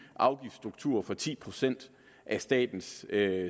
afgiftsstruktur for ti procent af statens